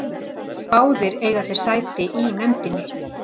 Báðir eiga þeir sæti í nefndinni